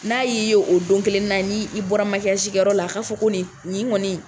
N'a y'i ye o don kelen na n'i bɔra kɛ yɔrɔ la a ka fɔ ko nin kɔni